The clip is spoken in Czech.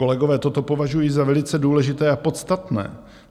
Kolegové, toto považuji za velice důležité a podstatné.